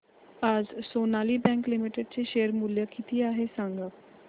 आज Sonali bank limited चे share मूल्य किती आहे सांगा